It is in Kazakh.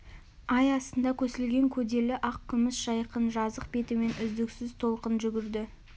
ай астында көсілген көделі ақ күміс жайқын жазық бетімен үздіксіз толқын жүгірді